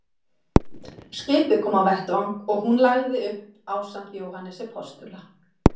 Skipið kom á vettvang og hún lagði upp ásamt Jóhannesi postula.